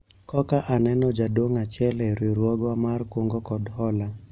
koka aneno jaduong' achiel e riwruogwa mar kungo kod hola